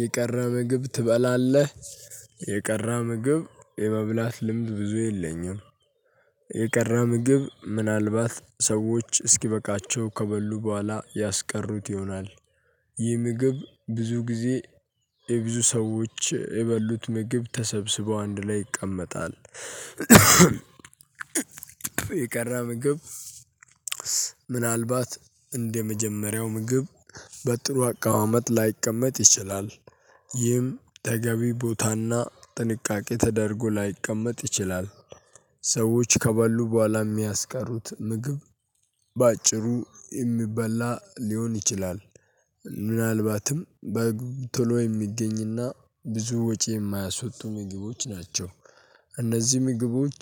የቀረበ ምግብ ትበላለህ? የቀረ ምግብ የመብላት ልምድ ብዙ የለኝም። የቀረ ምግብ ምናልባት ሰዎች እስኪበቃቸው ከበሉ በኋላ ያስቀሩት ይሆናል። ይህ ምግብ ብዙ ጊዜ የብዙ ሰዎች የበሉት ምግብ ተሰብስበው አንድ ላይ ይቀመጣል። የቀረ ምግብ። ምናልባት እንደመጀመሪያው ምግብ በጥሩ አቀማመጥ ላይቀመጥ ይችላል። ይህም ተገቢ ቦታና ጥንቃቄ ተደርጎ ላይቀመጥ ይችላል። ሰዎች ከበሉ በኋላ የሚያስቀሩት ምግብ። በአጭሩ የሚበላ ሊሆን ይችላል። ምናልባትም በግ ቶሎ የሚገኝና ብዙ ወጪ የማያስወጡ ምግቦች ናቸው። እነዚህ ምግቦች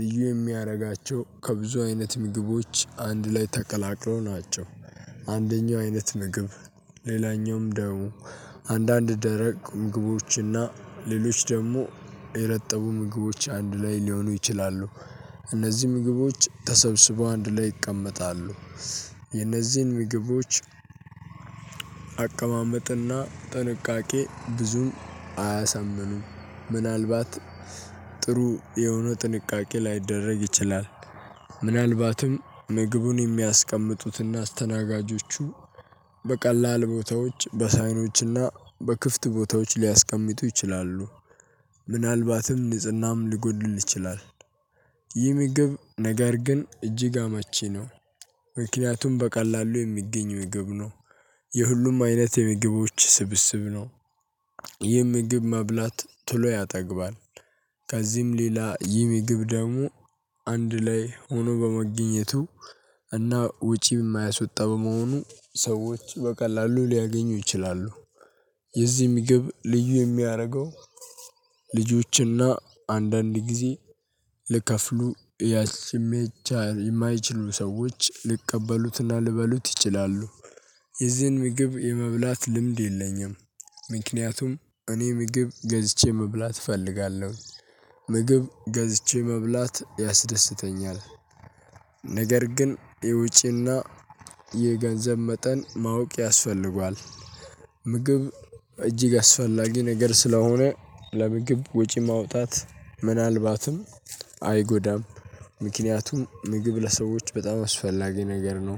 ልዩ የሚያደርጋቸው ከብዙ አይነት ምግቦች አንድ ላይ ተቀላቅሎ ናቸው። አንደኛው አይነት ምግብ። ሌላኛውም ደግሞ አንዳንድ ደረቅ ምግቦችና ሌሎች ደግሞ የረጠቡ ምግቦች አንድ ላይ ሊሆኑ ይችላሉ። እነዚህ ምግቦች ተሰብስበው አንድ ላይ ይቀመጣሉ። የነዚህን ምግቦች። አቀማመጥና ጥንቃቄ ብዙም አያሰምኑም ምናልባት ጥሩ የሆነ ጥንቃቄ ላይደረግ ይችላል። ምናልባትም ምግቡን የሚያስቀምጡትና አስተናጋጆቹ በቀላል ቦታዎች በሳህኖችና በክፍት ቦታዎች ሊያስቀምጡ ይችላሉ። ምናልባትም ንጽህናም ሊጎድል ይችላል። ይህ ምግብ ነገር ግን እጅግ አመቺ ነው። ምክንያቱም በቀላሉ የሚገኝ ምግብ ነው። የሁሉም አይነት የምግቦች ስብስብ ነው። ይህ ምግብ ማብላት ቶሎ ያጠግባል። ከዚህም ሌላ ይህ ምግብ ደግሞ አንድ ላይ ሆኖ በመገኘቱ እና ውጪ የማያስወጣ በመሆኑ ሰዎች በቀላሉ ሊያገኙ ይችላሉ። የዚህም ምግብ ልዩ የሚያደርገው ልጆችና አንዳንድ ጊዜ ልከፍሉ የማይችሉ ሰዎች ሊቀበሉትና ሊበሉት ይችላሉ። የዚህን ምግብ የመብላት ልምድ የለኝም። ምክንያቱም እኔ ምግብ ገዝቼ መብላት እፈልጋለሁ። ምግብ ገዝቼ መብላት ያስደስተኛል። ነገር ግን የውጪና የገንዘብ መጠን ማወቅ ያስፈልጋል። ምግብ እጅግ አስፈላጊ ነገር ስለሆነ ለምግብ ወጪ ማውጣት ምናልባትም አይጎዳም። ምክንያቱም ምግብ ለሰዎች በጣም አስፈላጊ ነገር ነው።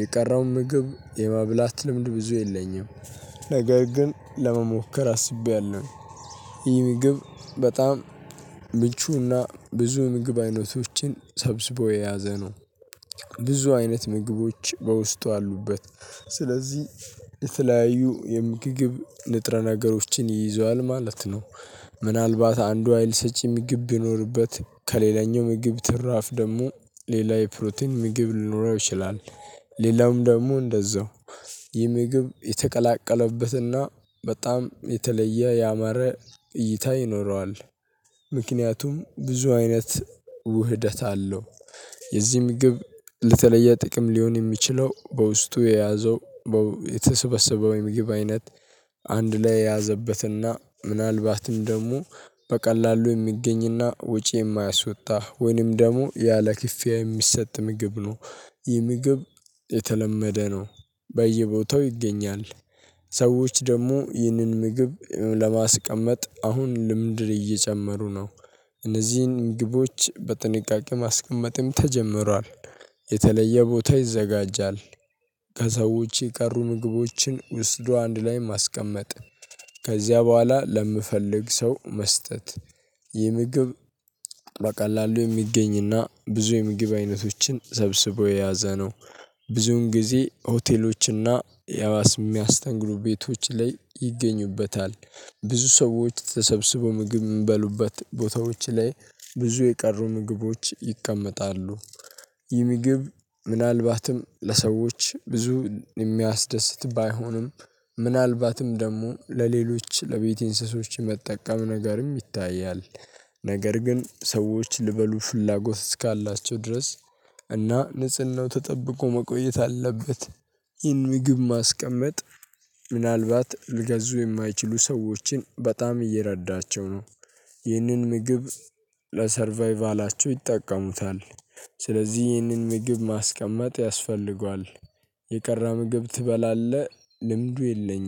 የቀረው ምግብ የማብላት ልምድ ብዙ የለኝም። ነገር ግን ለመሞከር አስቤያለሁ። ይህ ምግብ በጣም ምቹና ብዙ ምግብ አይነቶችን ሰብስቦ የያዘ ነው። ብዙ አይነት ምግቦች በውስጡ አሉበት። ስለዚህ የተለያዩ የምግብ ንጥረ ነገሮችን ይዘዋል ማለት ነው። ምናልባት አንዱ ሀይልሰጪ ምግብ ይኖርበት ከሌላኛው ምግብ ትራፍ ደግሞ ሌላ የፕሮቲን ምግብ ሊኖረው ይችላል። ሌላውም ደግሞ እንደዛው የምግብ የተቀላቀለበትና በጣም የተለየ ያማረ እይታ ይኖረዋል። ምክንያቱም ብዙ አይነት ውህደት አለው። የዚህ ምግብ የተለየ ጥቅም ሊሆን የሚችለው በውስጡ የያዘው የተሰበሰበው የምግብ አይነት አንድ ላይ የያዘበትና ምናልባትም ደግሞ በቀላሉ የሚገኝ እና ወጪ የማያስወጣ ወይንም ደግሞ ያለ ክፍያ የሚሰጥ ምግብ ነው። ይህ ምግብ የተለመደ ነው። በየቦታው ይገኛል። ሰዎች ደግሞ ይህንን ምግብ ለማስቀመጥ አሁን ልምድ እየጨመሩ ነው። እነዚህን ምግቦች በጥንቃቄ ማስቀመጥም ተጀምሯል። የተለየ ቦታ ይዘጋጃል። ከሰዎች የቀሩ ምግቦችን ወስዶ አንድ ላይ ማስቀመጥ ከዚያ በኋላ ለሚፈልግ ሰው መስጠት ይህ ምግብ በቀላሉ የሚገኝ እና ብዙ የምግብ አይነቶችን ሰብስቦ የያዘ ነው። ብዙን ጊዜ ሆቴሎች እና የሚያስተንግዱ ቤቶች ላይ ይገኙበታል። ብዙ ሰዎች ተሰብስበው ምግብ የምበሉበት ቦታዎች ላይ ብዙ የቀሩ ምግቦች ይቀመጣሉ። ይህ ምግብ ምናልባትም ለሰዎች ብዙ የሚያስደስት ባይሆንም ምናልባትም ደግሞ ለሌሎች ለቤት እንስሶች መጠቀም ነገርም ይታያል። ነገር ግን ሰዎች ሊበሉ ፍላጎት እስካላቸው ድረስ እና ንጽህናው ተጠብቆ መቆየት አለበት። ይህን ምግብ ማስቀመጥ ምናልባት ሊገዙ የማይችሉ ሰዎችን በጣም እየረዳቸው ነው። ይህንን ምግብ ለሰርቫይቫላቸው ይጠቀሙታል። ስለዚህ ይህንን ምግብ ማስቀመጥ ያስፈልጋል። የቀረ ምግብ ትበላለህ? ልምዱ የለኝም